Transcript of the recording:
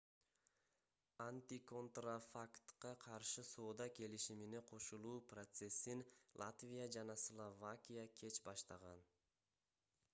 антиконтрафактка каршы соода келишимине кошулуу процессин латвия жана словакия кеч баштаган